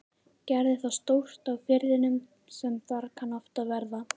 Gerði þá stórt á firðinum sem þar kann oft verða.